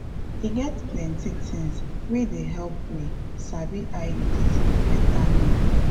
e get plenti tings wey dey help we sabi iuds betta now